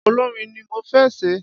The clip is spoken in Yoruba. Olórin ni mo fé ṣe